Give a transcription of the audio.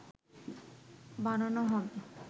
বানানো হবে